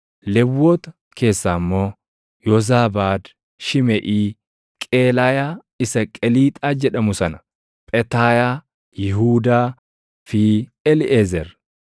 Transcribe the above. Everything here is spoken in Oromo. Lewwota keessaa immoo: Yoozaabaad, Shimeʼii, Qeelaayaa isa Qeliixaa jedhamu sana, Phetaayaa, Yihuudaa fi Eliiʼezer.